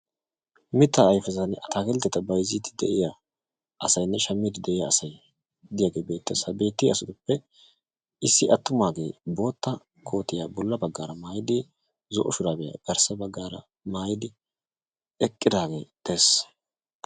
mitta ayfettane attakilteta bayzidi de"iyaa assati bettosona hagetu gidoppekka attumage bootta kootiya bolara maayidi zo"o shurabiyakka garssara maayidage de"eesi.